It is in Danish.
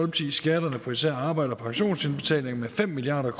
skatterne på især arbejde og pensionsindbetalinger med fem milliard